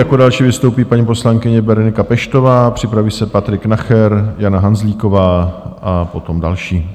Jako další vystoupí paní poslankyně Berenika Peštová, připraví se Patrik Nacher, Jana Hanzlíková a potom další.